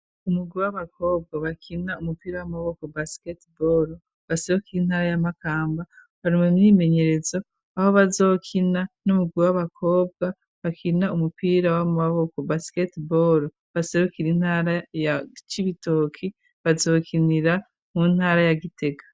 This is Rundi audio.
Umugwi w'abakobwa bakina umupira w'amaboko basketball baserukira intara ya Makamba bari mume m'imenyerezo aho bazokina n'umugwi w'abakobwa bakina umupira w'amaboko basketball baserukira intara ya ci ibitoki bazokinira mu ntara ya Gitega.